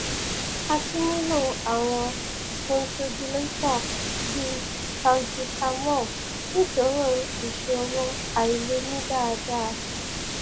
a tún nílò àwọn bronchodilator bí salbutamol nítorí ìṣòro àìlè mí dáadáa